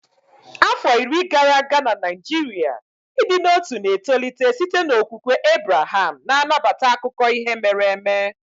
Afọ iri gara aga na Naijiria, ịdị n'otu na-etolite site n'okwukwe Abreham na-anabata akụkọ ihe mere eme.